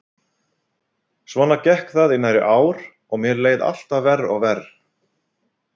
Svona gekk það í nærri ár og mér leið alltaf verr og verr.